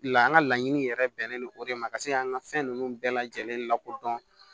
La an ka laɲini yɛrɛ bɛnnen don o de ma ka se ka an ka fɛn ninnu bɛɛ lajɛlen lakodɔn